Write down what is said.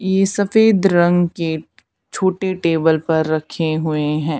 ये सफेद रंग के छोटे टेबल पर रखे हुए हैं।